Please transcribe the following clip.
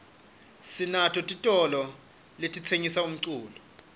sinato titolo letitsengisa umculo